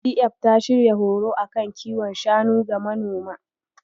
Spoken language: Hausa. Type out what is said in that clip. ITF ta shirya horo a kan kiwon shanu ga manoma.